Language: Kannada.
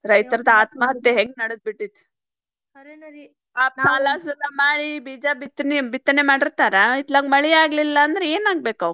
ರೈತರ್ದ ಆತ್ಮಹತ್ತೆ ಹೆಂಗ್ ನಡದ್ಬಿಟ್ಟಿತ್ ಸಾಲ ಸೂಲ ಮಾಡಿ ಬೀಜ ಬಿತ್ತನೆ ಮಾಡಿರ್ತಾರ ಇತ್ಲಾಗ ಮಳಿ ಆಗ್ಲಿಲ್ಲಾಂದ್ರ ಏನ್ ಆಗ್ಬೇಕಾವ್.